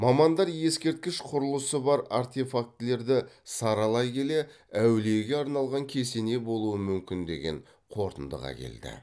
мамандар ескерткіш құрылысы мен артефактілерді саралай келе әулиеге арналған кесене болуы мүмкін деген қорытындыға келді